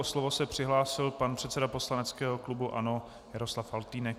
O slovo se přihlásil pan předseda poslaneckého klubu ANO Jaroslav Faltýnek.